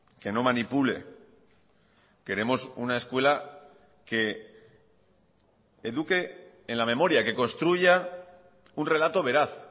que no manipule queremos una escuela que eduque en la memoria que construya un relato veraz